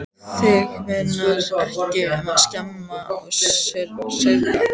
Þig munar ekki um að skemma og saurga.